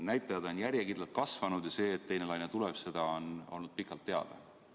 Näitajad on järjekindlalt kasvanud ja see, et teine laine tuleb, on olnud pikalt teada.